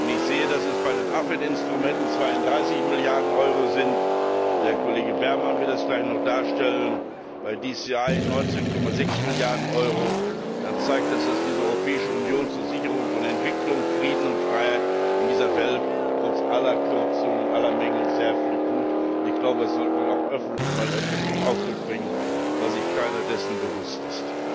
Wenn ich sehe, dass es bei den AFET Instrumenten 32 Milliarden Euro sind der Kollege Berman wird das gleich noch darstellen bei DCI 19,6 Milliarden Euro, dann zeigt das, dass die Europäische Union zur Sicherung von Entwicklung, Frieden und Freiheit in dieser Welt trotz aller Kürzungen und aller Mängel sehr viel tut. Das sollte man auch öffentlich öfters zum Ausdruck bringen, weil sich keiner dessen bewusst ist.